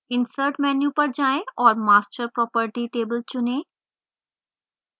insert menu पर जाएँ और master property table चुनें